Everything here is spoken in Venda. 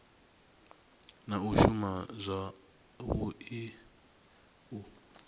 na u shuma zwavhui u